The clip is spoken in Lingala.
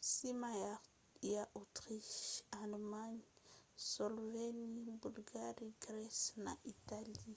nsima ya autriche allemagne slovénie bulgarie grèce na italie